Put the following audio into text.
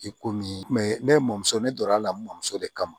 I komi ne mɔmuso ne donna a la n mɔmuso de kama